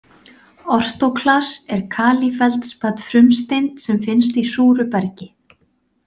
Ortóklas er kalífeldspat frumsteind sem finnst í súru bergi.